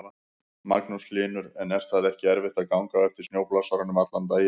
Magnús Hlynur: En er það ekki erfitt að ganga á eftir snjóblásaranum allan daginn?